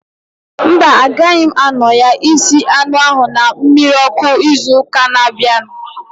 Mba, agaghị m anọ ya isi anụ ahu na mmiri ọkụ ịzụ ụka na abianu